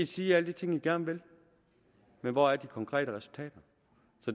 sige alle de ting man gerne vil men hvor er de konkrete resultater